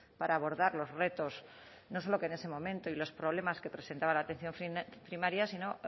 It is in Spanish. para abordar los retos no solo que en ese momento y los problemas que presentaba la atención primaria sino